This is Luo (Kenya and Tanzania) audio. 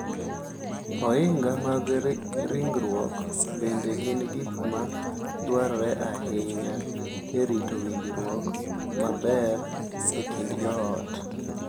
Ohinga mag ringruok bende gin gik ma dwarore ahinya e rito winjruok maber e kind joot.